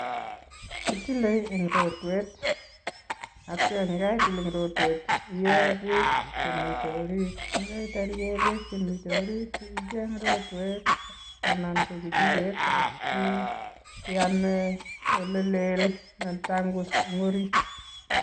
Kitile eng rotwet atya yekaitil eng rotwet, iee beek chemite orit yekaitar iee beek chemite orit icheng rotwet anan ko kichiket asiame olelel netangus eng orit.